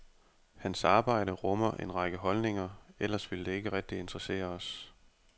Hans arbejde rummer en række holdninger, ellers ville det ikke rigtig interessere os.